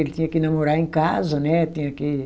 Ele tinha que namorar em casa, né? Tinha que